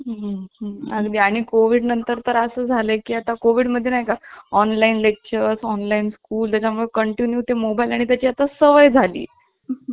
हम्म हम्म अगदी आणि कोविड नंतर तर असं झालं की आता कोविड मध्ये नाही का? ऑनलाइन लेक्चर्स ऑनलाइन स्कूलच्या मग continue ते mobile आणि त्या ची आता सवय झाली